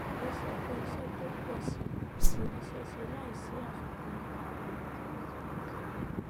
ó sọ pé iṣẹ tó ń pọ sí i kò ní ṣeé ṣe láìsí àfikún ìrànlọwọ